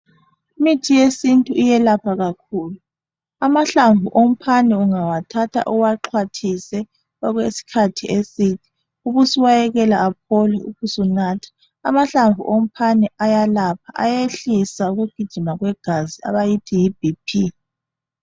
imithi yesintu iyelapha kakhulu amahlamvu omphane ungawathatha uwaxhwathise okwesikhathi eside ubusuwayekela aphole ubusunatha amahlamvu ephane ayelapha ayehlisa ukugijima kwegazi abayithi yi BP